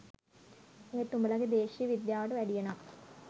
ඒත් උඹලගෙ දේශීය විද්‍යාවට වැඩිය නම්